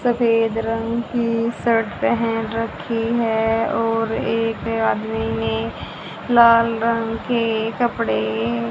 सफेद रंग की शर्ट पहन रखी है और एक आदमी ने लाल रंग के कपड़े--